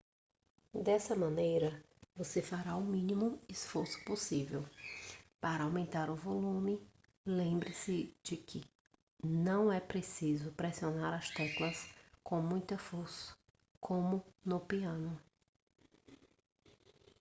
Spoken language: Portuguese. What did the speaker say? dessa maneira você fará o mínimo esforço possível para aumentar o volume lembre-se de que não é preciso pressionar as teclas com muita força como no piano